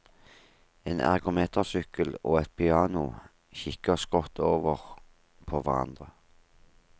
En ergometersykkel og et piano kikker skrått over på hverandre.